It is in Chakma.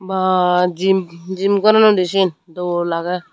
waah gym gym goronnoidey siyan dol ageh.